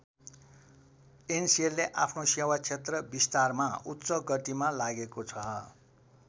एनसेलले आफ्नो सेवा क्षेत्र विस्तारमा उच्च गतिमा लागेको छ।